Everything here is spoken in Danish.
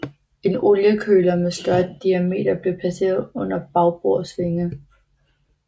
En oliekøler med større diameter blev placeret under bagbords vinge